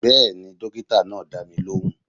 Bẹ́ẹ̀ni, dókítà náà dá mi lóhùn